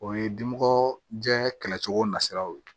O ye dimɔgɔ jɛn kɛlɛcogo na siraw ye